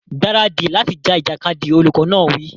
Gbáradì láti ja ìjàkadì! Olùkọ́ náà wí.